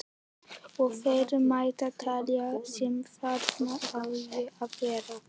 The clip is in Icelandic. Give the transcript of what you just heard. Og fleira mætti telja sem þarna á að verða.